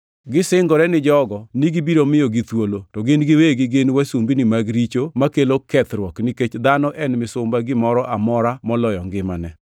Gisingore ni jogo ni gibiro miyogi thuolo to gin giwegi gin wasumbini mag richo makelo kethruok nikech dhano en misumba gimoro amora moloyo ngimane.